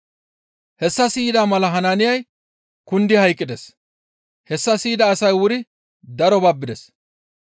Hessa siyida mala Hanaaniyay kundi hayqqides; hessa siyida asay wuri daro babbides.